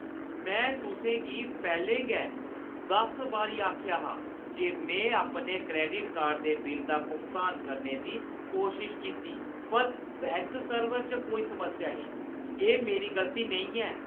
में तुसें गी पैह्‌लें गै दस बारी आखेआ हा जे में अपने क्रैडिट कार्ड दे बिल दा भुगतान करने दी कोशश कीती पर बैंक सर्वर च कोई समस्या ही। एह् मेरी गलती नेईं ऐ!